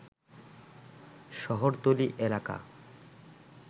শহরতলী এলাকা